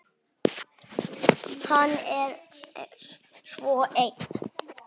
Hann er svo ein